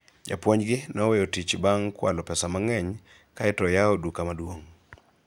japuonj gi noweyo tich bang' kwalo pesa mang'eny kaeto oyawo duka maduong'